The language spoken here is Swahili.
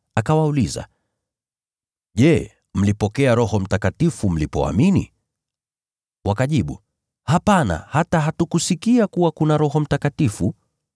akawauliza, “Je, mlipokea Roho Mtakatifu mlipoamini?” Wakajibu, “Hapana, hata hatukusikia kuwa kuna Roho Mtakatifu.”